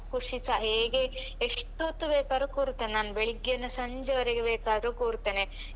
ಖುಷಿ ಸ ಹೇಗೆ ಎಷ್ಟೊತ್ತು ಬೇಕಾದ್ರೂ ಕೂರ್ತೇನೆ ನಾನ್ ಬೆಳಗ್ಗೆಯಿಂದ ಸಂಜೆವರೆಗೆ ಬೇಕಾದ್ರೂ ಕೂರ್ತೇನೆ.